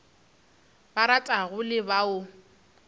ba ratago le ba o